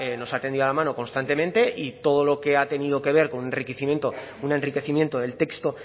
nos ha tendido la mano constantemente y todo lo que ha tenido que ver con un enriquecimiento del texto